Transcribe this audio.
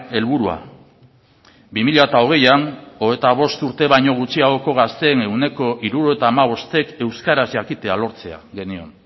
helburua bi mila hogeian hogeita bost urte baino gutxiagoko gazteen ehuneko hirurogeita hamabostek euskaraz jakitea lortzea genion